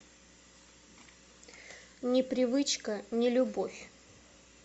не привычка не любовь